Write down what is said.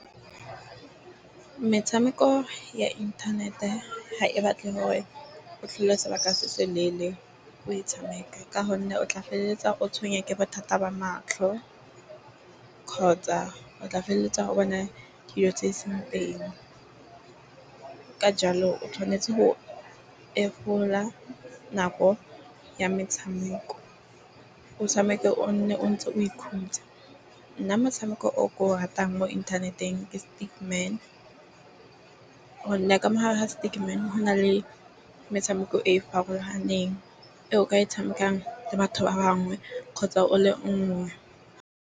Metshameko ya inthanete ha e batle hore o hlole sebaka se se leele o e tshameka. Ka gonne o tla feleletsa o tshwengwa ke bothata ba matlho, kgotsa o tla feleletsa o bona dilo tse seng teng. Ka jalo o tshwanetse ho nako ya metshameko. O tshameke o nne o ntse o ikhutsa. Nna motshameko oo ke o ratang mo inthaneteng ke . Gonne ka mo hare ho go na le metshameko e e farologaneng, eo o ka e tshamekang le batho ba bangwe gotsa o le nngwe.